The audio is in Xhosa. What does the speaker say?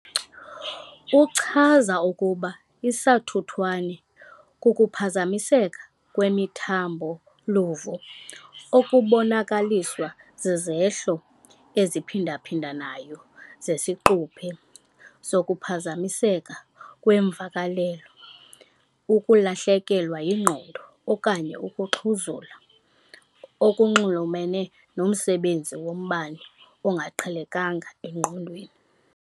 Uchaza ukuba isathuthwane kukuphazamiseka kwemithambo-luvo okubonakaliswa zizehlo eziphindaphindanayo zesiquphe zokuphazamiseka kweemvakalelo, ukulahlekelwa yingqondo okanye ukuxhuzula, okunxulumene nomsebenzi wombane ongaqhelekanga engqondweni.